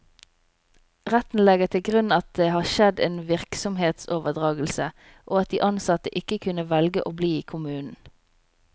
Retten legger til grunn at det har skjedd en virksomhetsoverdragelse, og at de ansatte ikke kunne velge å bli i kommunen.